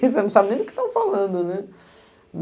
Quer dizer, você não sabe nem do que estão falando, né?